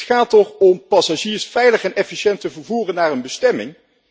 Het gaat er toch om passagiers veilig en efficiënt te vervoeren naar een bestemming?